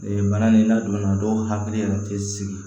bana ni ladonna dɔw hakili yɛrɛ tɛ sigi